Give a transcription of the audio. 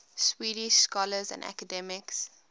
swedish scholars and academics